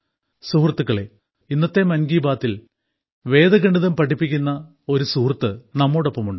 സുഹൃത്തുക്കളേ ഇന്നത്തെ മൻ കി ബാത്തിൽ വേദഗണിതം പഠിപ്പിക്കുന്ന ഒരു സുഹൃത്ത് നമ്മോടൊപ്പം ഉണ്ട്